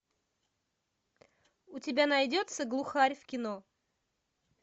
у тебя найдется глухарь в кино